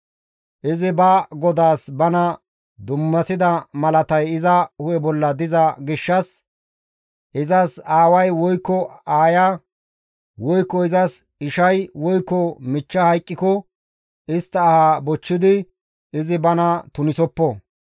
Izi ba Godaas bana dummasida malatay iza hu7e bolla diza gishshas izas aaway woykko aaya woykko izas ishay woykko michcha hayqqiko istta aha bochchidi izi bana tunisoppo.